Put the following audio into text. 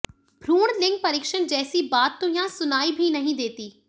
भ्रूण लिंग परीक्षण जैसी बात तो यहां सुनाई भी नहीं देती